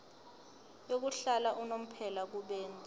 yokuhlala unomphela kubenzi